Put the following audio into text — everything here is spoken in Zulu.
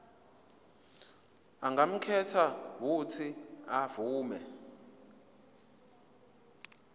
angakhetha uuthi avume